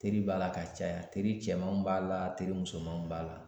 Teri b'a la ka caya teri cɛmanw b'a la teri musomanw b'a la